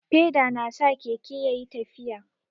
Feda na sa Keke ya ƴi tafiya.